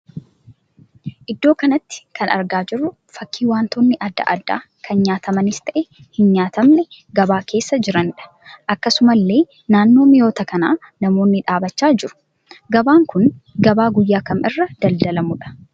Iddoo kanatti kan argaa jirru fakkii wantoonni adda addaa kan nyaatamanis ta'e hin nyaatamne gabaa keessa jiraniidha. Akkasumallee naannoo mi'oota kanaa namoonni dhaabbachaa jiru. Gabaan kun gabaa guyyaa kam irra daldaalamuudha?